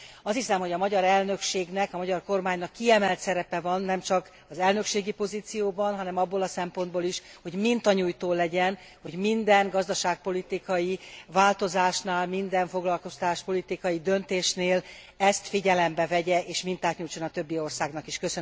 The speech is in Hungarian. Azt hiszem, hogy a magyar elnökségnek, a magyar kormánynak kiemelt szerepe van, nemcsak az elnökségi pozícióban, hanem abból a szempontból is, hogy mintanyújtó legyen, hogy minden gazdaságpolitikai változásnál, minden foglalkoztatáspolitikai döntésnél ezt figyelembe vegye és mintát nyújtson a többi országnak is.